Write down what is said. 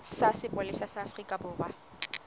sa sepolesa sa afrika borwa